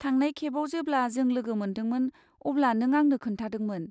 थांनाय खेबाव जेब्ला जों लोगो मोनदोंमोन अब्ला नों आंनो खोन्थादोंमोन।